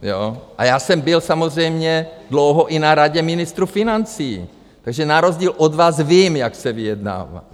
A já jsem byl samozřejmě dlouho i na Radě ministrů financí, takže na rozdíl od vás vím, jak se vyjednává.